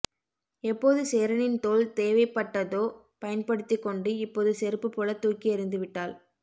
எப்போது சேரனின் தோள் தேவைப்பட்டதோ பயன்படுத்திக்கொண்டு இப்போது செருப்பு போல தூக்கி எறிந்துவிட்டாள்